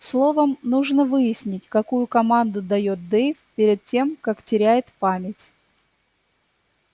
словом нужно выяснить какую команду даёт дейв перед тем как теряет память